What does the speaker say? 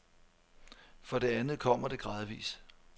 For det andet kommer det gradvis.